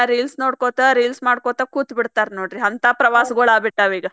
Reels ನೋಡ್ಕೊಂತ reels ಮಾಡ್ಕೊಂತ ಕುತ್ತಬಿಡ್ತಾರ ನೋಡ್ರಿ ಹಂತಾ ಪ್ರವಾಸಗೊಳ ಆಗಿಬಿಟ್ಟವ ಈಗ.